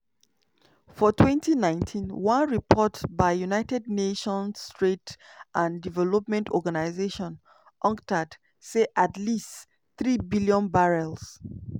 for 2019 one report by united nations trade and development organisation (unctad) say at least 3 billion barrels